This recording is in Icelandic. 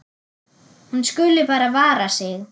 Hún skuli bara vara sig.